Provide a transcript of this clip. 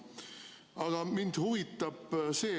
Aga mind huvitab järgmine asi.